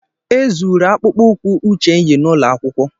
E zuru akpụkpọ ụkwụ akpụkpọ ụkwụ uche yi n'ụlọ akwụkwọ.